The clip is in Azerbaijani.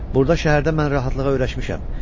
Burda şəhərdə mən rahatlığa öyrəşmişəm.